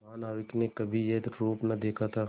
महानाविक ने कभी यह रूप न देखा था